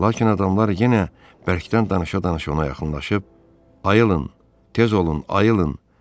Lakin adamlar yenə bərkdən danışa-danışa ona yaxınlaşıb, ayılın, tez olun, ayılın.